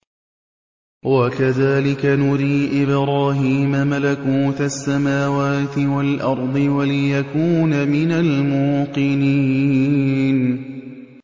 وَكَذَٰلِكَ نُرِي إِبْرَاهِيمَ مَلَكُوتَ السَّمَاوَاتِ وَالْأَرْضِ وَلِيَكُونَ مِنَ الْمُوقِنِينَ